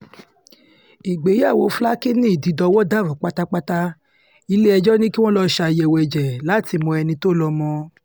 ìgbéyàwó flakíny ìdídọ́wò dàrú pátápátá ilé-ẹjọ́ ni kí wọ́n lọ́ọ́ ṣàyẹ̀wò ẹ̀jẹ̀ láti mọ ẹni tó lọ́mọ